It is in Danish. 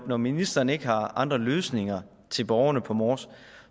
når ministeren ikke har andre løsninger til borgerne på mors